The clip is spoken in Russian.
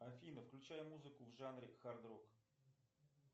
афина включай музыку в жанре хард рок